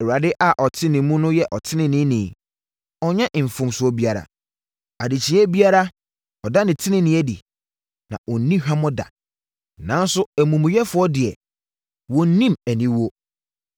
Awurade a ɔte ne mu no yɛ ɔteneneeni; ɔnnyɛ mfomsoɔ biara. Adekyeeɛ biara ɔda ne tenenee adi, na ɔnni hwammɔ da, nanso amumuyɛfoɔ deɛ wonnim aniwuo.